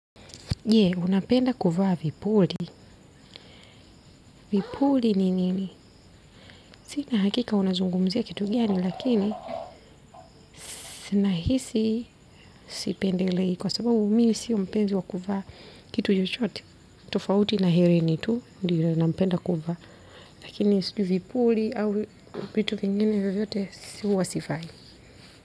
Unapenda kuvaa vipuli. Vipuli ni nini? Sina hakika unazungumzia kitu gani, lakini nahisi sipendelei kwa sababu mimi sio mpenzi wa kuvaa kitu chochote. Tofauti na hereni tu, ndio napenda kuvaa. Lakini sijui vipuli au vitu vingine vyovyote huwa sivai.